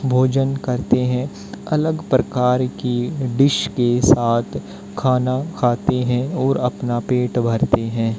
भोजन करते हैं अलग प्रकार की डिश के साथ खाना खाते है और अपना पेट भरते है।